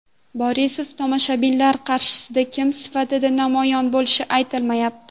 Borisov tomoshabinlar qarshisida kim sifatida namoyon bo‘lishi aytilmayapti.